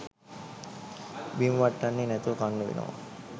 බිම වට්ටන්නේ නැතුව කන්න වෙනවා